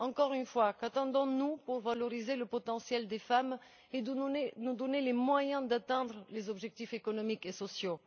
Encore une fois, qu'attendons nous pour valoriser le potentiel des femmes et nous donner les moyens d'atteindre les objectifs économiques et sociaux?